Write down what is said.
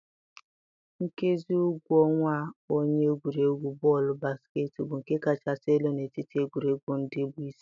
Nkezi ụgwọ ọnwa onye egwuregwu bọọlụ basketịị bụ nke kachasị elu n'etiti egwuregwu ndị bụ isi.